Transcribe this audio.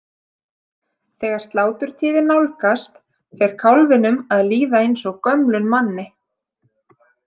Þegar sláturtíðin nálgast fer kálfinum að líða eins og gömlum manni.